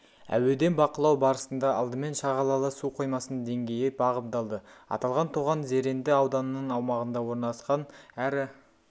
әуеден бақылау барысында алдымен шағалалы су қоймасының деңгейі бағамдалды аталған тоған зеренді ауданының аумағында орналасқан әрі